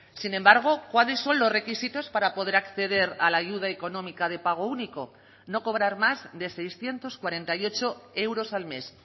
sin embargo cuáles son los requisitos para poder acceder a la ayuda económica de pago único no cobrar más de seiscientos cuarenta y ocho euros al mes